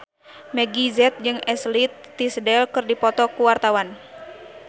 Meggie Z jeung Ashley Tisdale keur dipoto ku wartawan